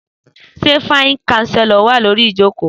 Sẹ fàisí ṣàsẹló wà lòrí ìjọkọ?